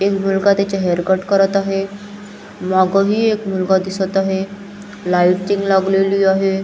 एक मुलगा त्याचे हेयर कट करत आहे मागही एक मुलगा दिसत आहे लायटिंग लागलेली आहे.